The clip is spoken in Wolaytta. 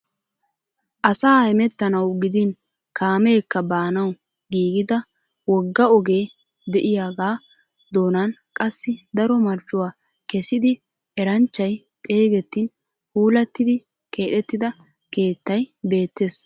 Asa hemettanawu gidin kaameekka baanwu giigida wogga ogee de'iyagaa doonan qassi daro marccuwa kessidi eranchchay xeegettin puulattidi keexettida keettay beettees.